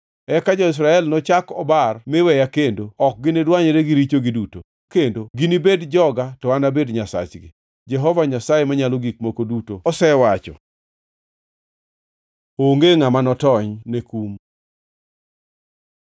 Eka jo-Israel ok nochak obar mi weya kendo ok ginidwanyre gi richogi duto kendo. Ginibed joga to an anabed Nyasachgi, Jehova Nyasaye Manyalo Gik Moko Duto Osewacho.’ ” Onge ngʼama notony ne kum